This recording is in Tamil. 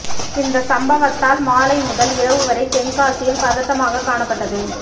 இந்த சம்பவத்தால் மாலை முதல் இரவு வரை தென்காசியில் பதட்டமாக காணப்பட்டது